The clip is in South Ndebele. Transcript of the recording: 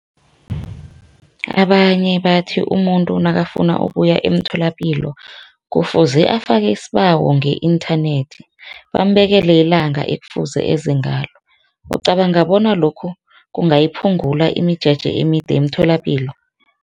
Abanye bathi umuntu nakafuna ukuya emtholapilo kufuze afake isibawo nge-inthanethi bambekele ilanga ekufanele eze ngalo. Ucabanga bona lokho kungayiphungula imijeje emide emitholapilo?